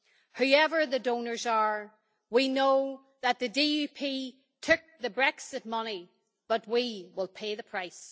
Whoever the donors are, we know that the DUP took the Brexit money, but we will pay the price.